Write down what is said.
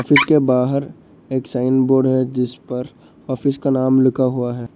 इसके बाहर एक साइन बोर्ड है जिस पर ऑफिस का नाम लिखा हुआ है।